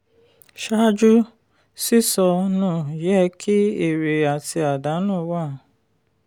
ṣáájú sísọ nù yẹ kí èrè àti àdánù wà.